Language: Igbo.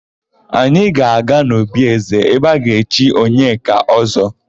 Anyị ga-aga n'obi ézē ebe a ga-echi Onyeka Ọ́zọ́.